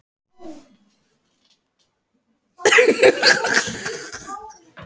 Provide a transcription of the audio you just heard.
Ívar, hvenær kemur tvisturinn?